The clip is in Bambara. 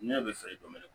Ne bɛ feere kɛ dɔni